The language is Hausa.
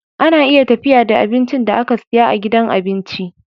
Ana iya tafiya da abincin da aka siya a gidan abinci